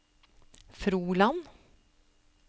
Froland